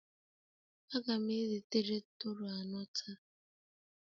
Aga m ezitere Toro anọ taa